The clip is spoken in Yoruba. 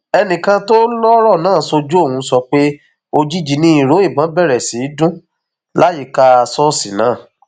ẹnìkan tó lọrọ náà ṣojú òun sọ pé òjijì ni ìró ìbọn bẹrẹ sí í dún láyìíká ṣọọṣì náà